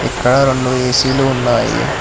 ఇక్కడ రెండు ఏసీలు ఉన్నాయి.